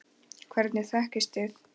Hvernig þekkist þið?